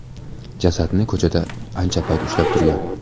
Jasadni ko‘chada ancha payt ushlab turgan.